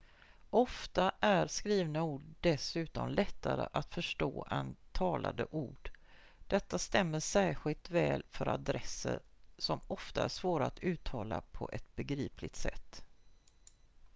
ofta är skrivna ord dessutom lättare att förstå än talade ord detta stämmer särskilt väl för adresser som ofta är svåra att uttala på ett begripligt sätt